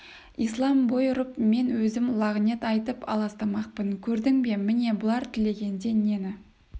ислам бой ұрып мен өзім лағынет айтып аластамақпын көрдің бе міне бұлар тілегенде нені